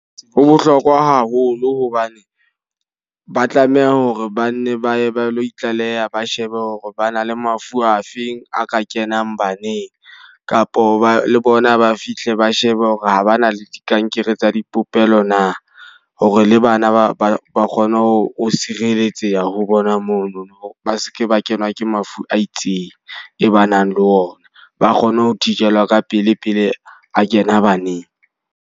Ho bohlokwa haholo hobane ba tlameha hore ba nne ba ye ba lo itlaleha ba shebe hore ba na le mafu afeng a ka kenang baneng. Kapo ba le bona ba fihle ba shebe hore ha ba na le dikankere tsa dipopelo na. Hore le bana ba ba ba kgone ho sireletseha ho bona mono ba seke ba kenwa ke mafu a itseng, e ba nang le ona. Ba kgone ho thijelwa ka pele pele a kena baneng.